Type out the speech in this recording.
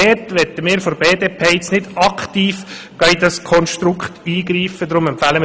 Wir möchten seitens der BDP jedoch nicht aktiv in dieses Konstrukt eingreifen.